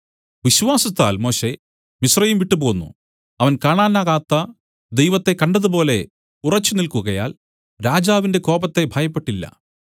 വിശ്വാസത്താൽ Moshe Mizraim വിട്ടുപോന്നു അവൻ കാണാനാകാത്ത ദൈവത്തെ കണ്ടതുപോലെ ഉറച്ചുനില്ക്കുകയാൽ രാജാവിന്റെ കോപത്തെ ഭയപ്പെട്ടില്ല